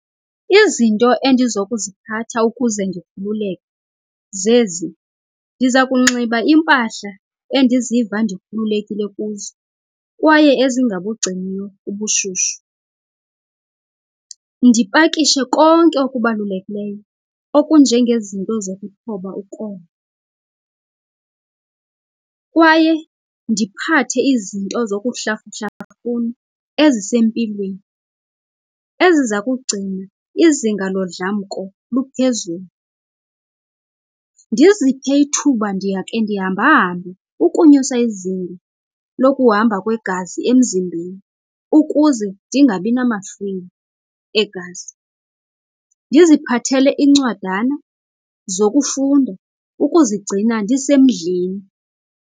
Izinto endizokuziphatha ukuze ndikhululeka zezi. Ndiza kunxiba impahla endiziva ndikhululekile kuzo kwaye ezingabungciniyo ubushushu. Ndipakishe konke okubalulekileyo okunjengezinto zokuthoba ukoma. Kwaye ndiphathe izinto zokuhlafuhlafuna ezisempilweni eziza kugcina izinga lodlamko luphezulu. Ndiziphe ithuba ndiya khe ndihambahambe ukunyusa izinga lokuhamba kwegazi emzimbeni ukuze ndingabinamahlwili egazi. Ndiziphathele iincwadana zokufunda ukuzigcina ndisemdleni.